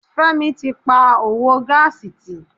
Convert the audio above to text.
Fẹ́mi tí pa òwò gáàsì tì.